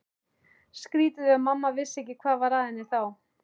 Skrýtið ef mamma vissi ekki hvað var að henni þá.